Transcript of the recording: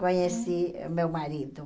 Conheci meu marido.